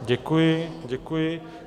Děkuji, děkuji.